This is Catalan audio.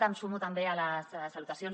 em sumo també a les salutacions